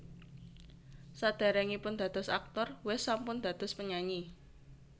Saderengipun dados aktor West sampun dados penyanyi